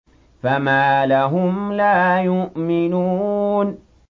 فَمَا لَهُمْ لَا يُؤْمِنُونَ